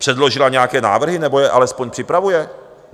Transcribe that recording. Předložila nějaké návrhy, nebo je alespoň připravuje?